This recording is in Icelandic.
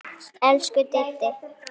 Elsku Diddi.